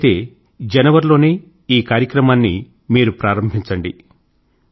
వీలైతే జనవరి లోనే ఈ కార్యక్రమాన్ని మీరు ప్రారంభించండి